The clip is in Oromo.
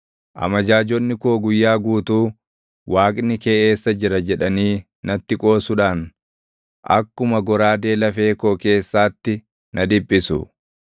Amajaajonni koo guyyaa guutuu, “Waaqni kee eessa jira?” jedhanii natti qoosudhaan, akkuma goraadee lafee koo keessaatti na dhiphisu.